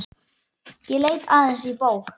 Ég leit aðeins í bók.